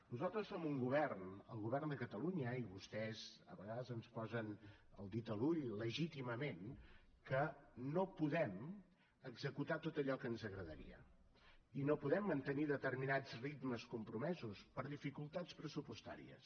nosaltres som un govern el govern de catalunya i vostès a vegades ens posen el dit a l’ull legítimament que no podem executar tot allò que ens agradaria ni podem mantenir determinats ritmes compromesos per dificultats pressupostàries